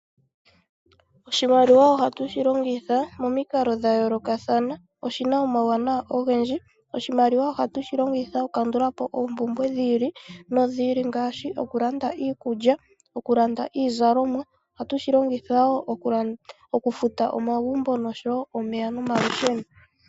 Oshimaliwa ohatu shi longitha momikalo dha yoolokathana, oshina omawuwanawa ogendji, oshiwaliwa ohatu shi longitha oku kandulapo oompumbwe dhi ili nodhi ili ngaashi okulanda iikulya, okulanda iizalomwa, ohatu shi longitha wo okufuta omagumbo nosho wo okufuta omeya nomalusheno.